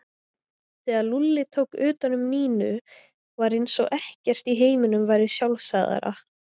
Þegar Lúlli tók utan um Nínu var eins og ekkert í heiminum væri sjálfsagðara.